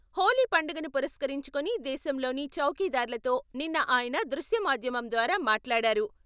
హోలీ పండుగను పురస్కరించుకొని దేశంలోని చౌకీదార్లతో నిన్న ఆయన దృశ్య మాద్యమం ద్వారా మాట్లాడారు.